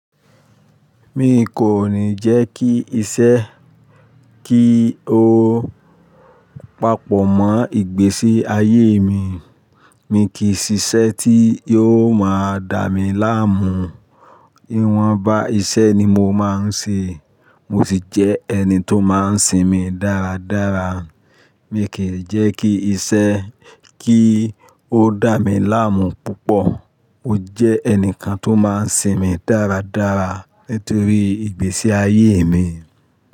Mi kò ní jẹ́ kí iṣẹ́ kí ó papọ̀ mọ́ ìgbésí ayé mi. Mi kì ṣiṣẹ́ tí yó máa dà mí láàmú. Ìwọ̀n bá iṣẹ́ ni mo máa ń ṣe, mo ṣì jẹ́ ẹni tó máa ń sinmi dáradára. Mi kì jẹ́ kí iṣẹ́ kí ó dà mi láàmú púpọ̀. Mo jẹ́ ẹnìkan tó máa ń sinmi dáradára nítorí ìgbésí ayé mi.